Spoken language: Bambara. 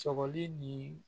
Sɔgɔli ni